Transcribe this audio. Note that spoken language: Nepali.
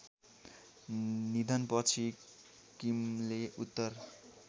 निधनपछि किमले उत्तर